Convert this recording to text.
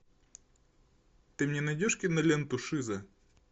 ты мне найдешь киноленту шиза